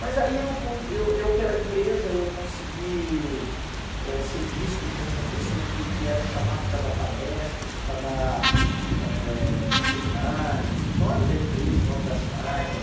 Mas aí eu, con eu eu pela empresa, eu consegui eh ser visto como uma pessoa que que era chamada para dar palestras, para dar eh seminários, em nome da empresa, em nome das marcas.